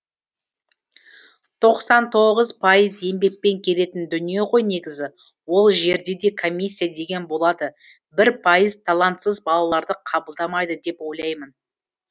тоқсан тоғыз пайыз еңбекпен келетін дүние ғой негізі ол жерде де комиссия деген болады бір пайыз талантсыз балаларды қабылдамайды деп ойлаймын